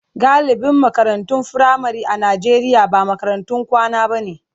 Galibin makarantun firamare a Najeriya ba makarantun kwana bane.